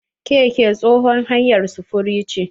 Keke tsohon hanyar sufuri ce.